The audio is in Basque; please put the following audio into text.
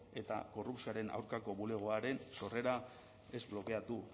eta korrupzioaren aurkako bulegoaren sorrera ez blokeatu